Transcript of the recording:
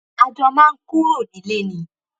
a jọ máa ń kúrò nílé ni